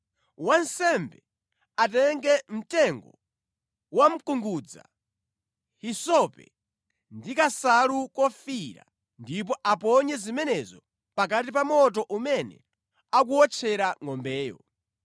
Wansembe atenge mtengo wamkungudza, hisope ndi kansalu kofiira ndipo aponye zimenezo pakati pa moto umene akuwotchera ngʼombeyo.